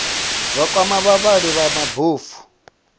zwa kwama vhavhali vha mabofu